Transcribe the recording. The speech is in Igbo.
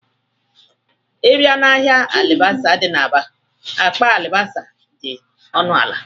Ị bịa n'ahịa alibasa dị n'Aba, akpa alibasa dị ọnụala